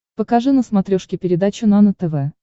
покажи на смотрешке передачу нано тв